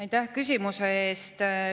Aitäh küsimuse eest!